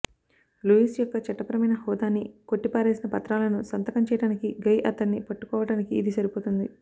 Louis యొక్క చట్టపరమైన హోదాని కొట్టిపారేసిన పత్రాలను సంతకం చేయటానికి గై అతన్ని పట్టుకోవటానికి ఇది సరిపోతుంది